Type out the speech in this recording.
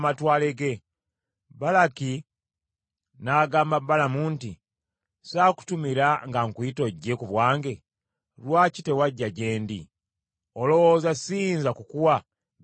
Balaki n’agamba Balamu nti, “Saakutumira nga nkuyita ojje ku bwange? Lwaki tewajja gye ndi? Olowooza siyinza kukuwa bitiibwa bingi?”